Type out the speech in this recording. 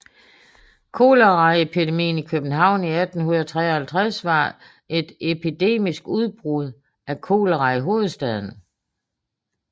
Koleraepidemien i København 1853 var et epidemisk udbrud af kolera i hovedstaden